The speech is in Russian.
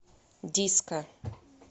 диско